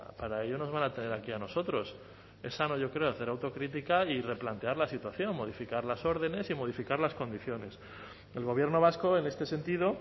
para ello nos van a tener aquí a nosotros es sano yo creo hacer autocrítica y replantear la situación modificar las órdenes y modificar las condiciones el gobierno vasco en este sentido